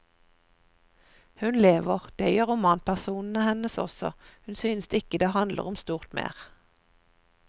Hun lever, det gjør romanpersonene hennes også, hun synes ikke det handler om stort mer.